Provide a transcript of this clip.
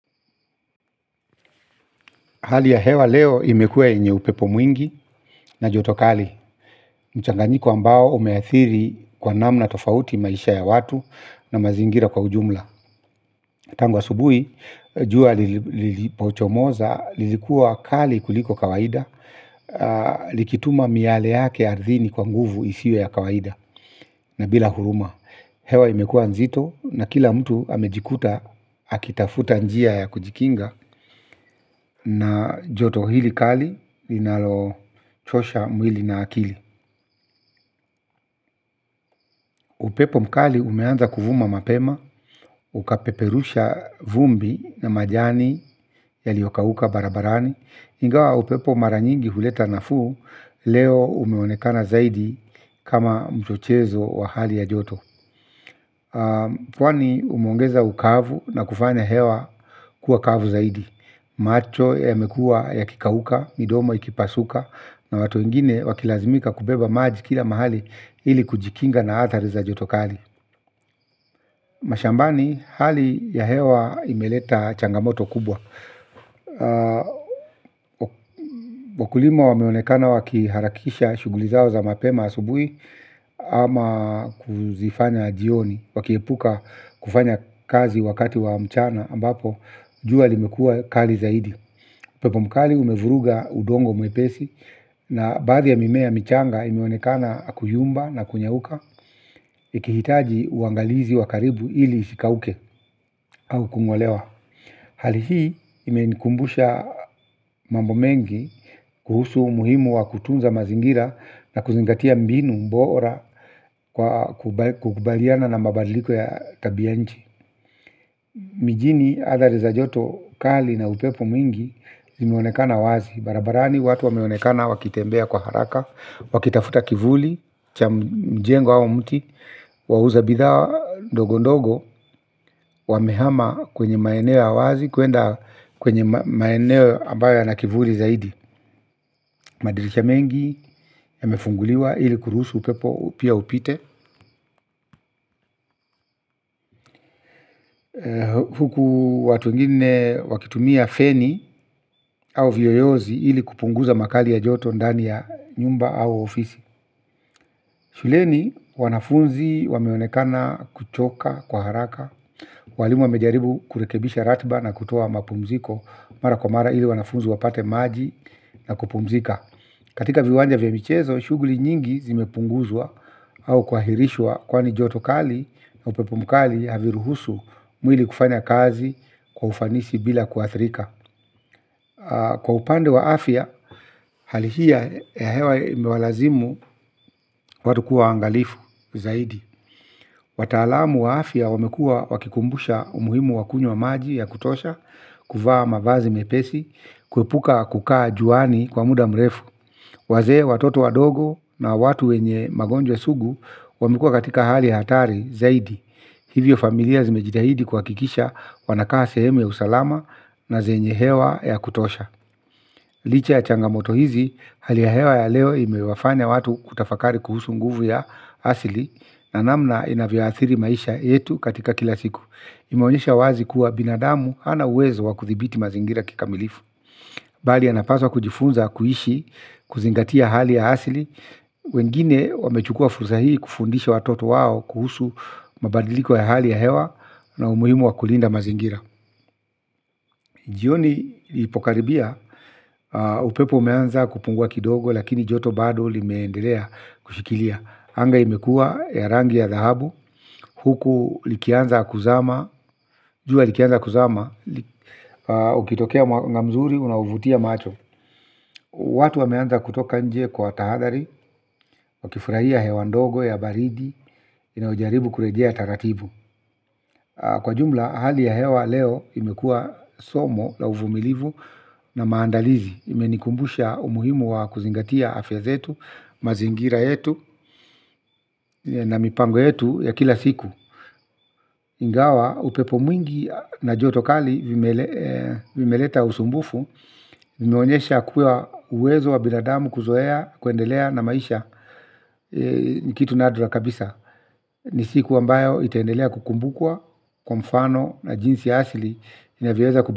Hali ya hewa leo imekuwa yenye upepo mwingi na joto kali. Mchanganyiko ambao umeathiri kwa namna tofauti maisha ya watu na mazingira kwa ujumla. Tangu asubuhi, jua lilipochomoza, lilikuwa kali kuliko kawaida, likituma miyale yake ardhini kwa nguvu isiyo ya kawaida. Na bila huruma, hewa imekuwa nzito na kila mtu amejikuta akitafuta njia ya kujikinga. Na joto hili kali linalo chosha mwili na akili. Upepo mkali umeanza kuvuma mapema, ukapeperusha vumbi na majani yaliyokauka barabarani. Ingawa upepo mara nyingi huleta nafuu, leo umeonekana zaidi kama mchochezo wa hali ya joto. Kwani umuongeza ukavu na kufanya hewa kuwa kavu zaidi. Macho yamekuwa yakikauka, midomo ikipasuka, na watu wengine wakilazimika kubeba maji kila mahali ili kujikinga na athari za joto kali. Mashambani hali ya hewa imeleta changamoto kubwa. Wakulima wameonekana wakiharakisha shughuli zao za mapema asubuhi ama kuzifanya jioni, wakiepuka kufanya kazi wakati wa mchana ambapo jua limekuwa kali zaidi. Upepo mkali umevuruga udongo mwepesi na baadhi ya mimea michanga imeonekana kuyumba na kunyauka. Ikihitaji uangalizi wa karibu ili isikauke au kung'olewa. Hali hii imenikumbusha mambo mengi kuhusu umuhimu wa kutunza mazingira na kuzingatia mbinu bora kukubaliana na mabadiliko ya tabia ya nchi. Mijini athari za joto kali na upepo mwingi zimeonekana wazi. Barabarani watu wameonekana wakitembea kwa haraka, wakitafuta kivuli, cha mjengo au mti, wauza bidhaa ndogo ndogo, wamehama kwenye maeneo ya wazi, kwenda kwenye maeneo ambayo yana kivuli zaidi. Madirisha mengi, yamefunguliwa, ili kurusu upepo, pia upite. Huku watu wengine wakitumia feni au vioyozi ili kupunguza makali ya joto ndani ya nyumba au ofisi. Shuleni wanafunzi wameonekana kuchoka kwa haraka. Walimu wamejaribu kurekebisha ratiba na kutoa mapumziko mara kwa mara ili wanafunzi wapate maji na kupumzika. Katika viwanja vya michezo, shughuli nyingi zimepunguzwa au kuahirishwa kwani joto kali na upepo mkali haviruhusu mwili kufanya kazi kwa ufanisi bila kuathirika. Kwa upande wa afya, hali hii ya hewa imewalazimu watu kua wangalifu zaidi. Watalamu wa afya wamekuwa wakikumbusha umuhimu wakunywa maji ya kutosha, kuvaa mavazi mepesi, kuepuka kukaa juani kwa muda mrefu. Wazee, watoto wadogo na watu wenye magonjwa sugu wamekuwa katika hali ya hatari zaidi. Hivyo familia zimejitahidi kuhakikisha wanakaa sehemu ya usalama na zenye hewa ya kutosha. Licha ya changamoto hizi hali ya hewa ya leo imewafanya watu kutafakari kuhusu nguvu ya asili, na namna inavyo athiri maisha yetu katika kila siku. Imeonesha wazi kuwa binadamu hana uwezo wakuthibiti mazingira kikamilifu bali anapaswa kujifunza kuishi kuzingatia hali ya asili. Wengine wamechukua fursa hii kufundisha watoto wao kuhusu mabadiliko ya hali ya hewa na umuhimu wa kulinda mazingira. Jioni ilipokaribia upepo umeanza kupungua kidogo lakini joto bado limeendelea kushikilia. Anga imekua ya rangi ya dhahabu, huku likianza kuzama, jua likianza kuzama, ukitokea mwanga mzuri unaovutia macho. Watu wameanza kutoka nje kwa tahadhari, wakifurahia hewa ndogo ya baridi, inayojaribu kurejea taratibu. Kwa jumla, hali ya hewa leo imekua somo la uvumilivu na maandalizi. Imenikumbusha umuhimu wa kuzingatia afya zetu, mazingira yetu na mipango yetu ya kila siku. Ingawa, upepo mwingi na joto kali vimeleta usumbufu, vimeonesha kuwa uwezo wa binadamu kuzoea, kuendelea na maisha. Ni kitu nadra kabisa. Ni siku ambayo itaendelea kukumbukwa, kwa mfano na jinsi asili inavyo weza.